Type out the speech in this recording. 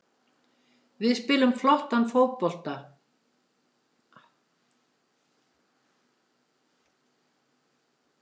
Við spilum flottan bolta og erum miklu betri aðilinn.